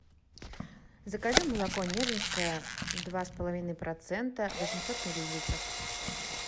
закажи молоко нежинское два с половиной процента восемьсот миллилитров